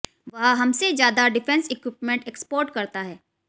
वह हमसे ज्यादा डिफेंस इक्विपमेंट एक्सपोर्ट करता है